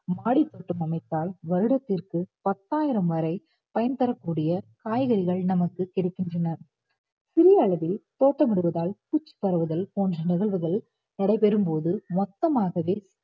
மாடித்தோட்டம் அமைத்தால் வருடத்திற்கு பத்தாயிரம் வரை பயன் தரக்கூடிய காய்கறிகள் நமக்கு கிடைக்கின்றன சிறிய அளவில் தோட்டம் இடுவதால் பூச்சி பரவுதல் போன்ற நிகழ்வுகள் நடைபெறும்போது மொத்தமாகவே